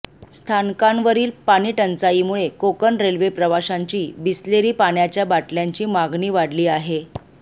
स्थानकांवरील पाणीटंचाईमुळे कोकण रेल्वे प्रवाशांची बिसलेरी पाण्याच्या बाटल्यांची मागणी वाढली आहे